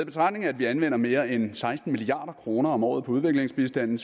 betragtning at vi anvender mere end seksten milliard kroner om året på udviklingsbistand